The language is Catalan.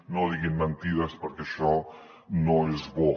no diguin mentides perquè això no és bo